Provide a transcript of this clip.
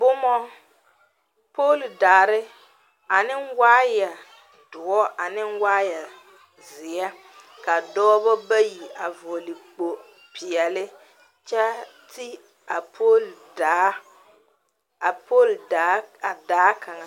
Boma, pooli daare ane wire dɔ ane wire ziɛ ka dɔɔba bayi a vɔgle kpo peɛle kyɛ ti a pooli daa a pooli daa a daa kaŋa.